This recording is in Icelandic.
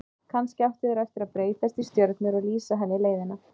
Kannski áttu þeir eftir að breytast í stjörnur og lýsa henni leiðina.